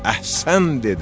Əhsən dedilər.